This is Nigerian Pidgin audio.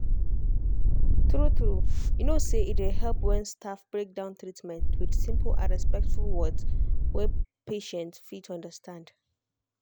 true-true you know say e dey help when staff break down treatment with simple and respectful words wey patient fit understand.